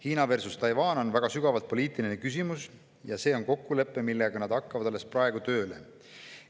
Hiina versus Taiwan on väga sügavalt poliitiline küsimus ja see on kokkulepe, millega nad alles hakkavad praegu tööle.